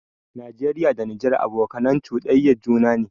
Nageriya da Nijar abokanai chuɗanyan juna ne